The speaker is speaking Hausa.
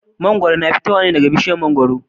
Mangwaro na fitowa ne daga bishiyar mangwaro.